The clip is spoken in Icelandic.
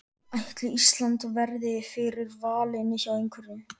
Ætli Ísland verði fyrir valinu hjá einhverjum?